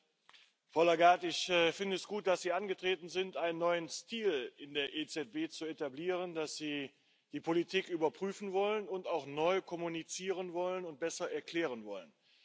Frau Lagarde, ich finde es gut, dass Sie angetreten sind, einen neuen Stil in der EZB zu etablieren, dass Sie die Politik überprüfen wollen und auch neu kommunizieren und besser erklären wollen.